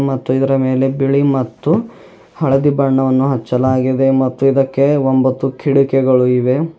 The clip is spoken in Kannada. ಮತ್ತು ಇದರ ಮೇಲೆ ಬಿಳಿ ಮತ್ತು ಹಳದಿ ಬಣ್ಣವನ್ನು ಹಚ್ಚಲಾಗಿದೆ ಮತ್ತು ಇದಕ್ಕೆ ಒಂಬತ್ತು ಕಿಟಕಿಗಳು ಇವೆ.